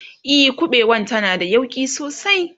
e ƙuɓewan tana da yauƙi sosai